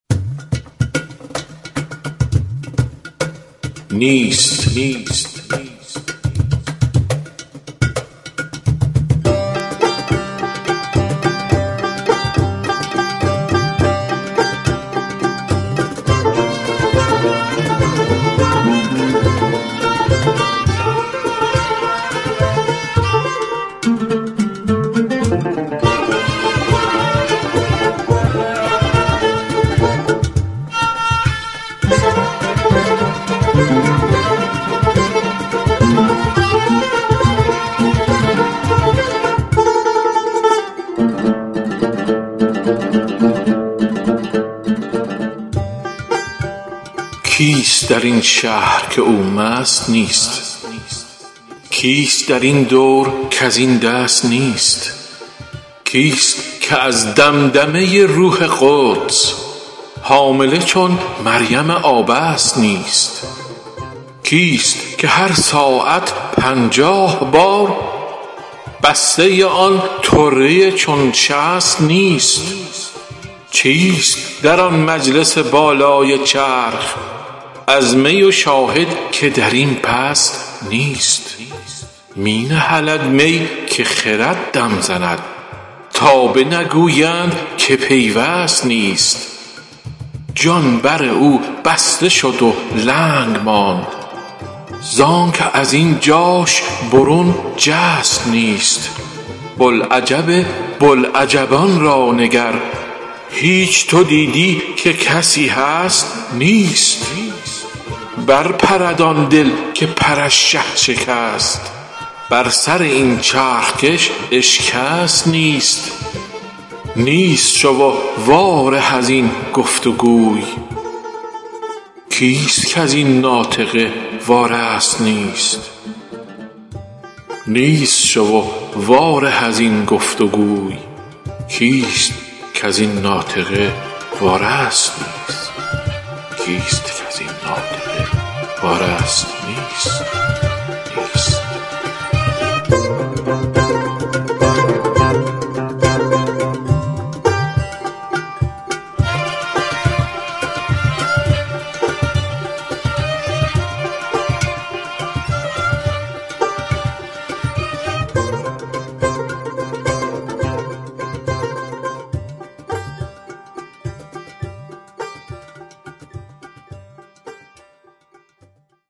کیست در این شهر که او مست نیست کیست در این دور کز این دست نیست کیست که از دمدمه روح قدس حامله چون مریم آبست نیست کیست که هر ساعت پنجاه بار بسته آن طره چون شست نیست چیست در آن مجلس بالای چرخ از می و شاهد که در این پست نیست می نهلد می که خرد دم زند تا بنگویند که پیوست نیست جان بر او بسته شد و لنگ ماند زانک از این جاش برون جست نیست بوالعجب بوالعجبان را نگر هیچ تو دیدی که کسی هست نیست برپرد آن دل که پرش شه شکست بر سر این چرخ کش اشکست نیست نیست شو و واره از این گفت و گوی کیست کز این ناطقه وارست نیست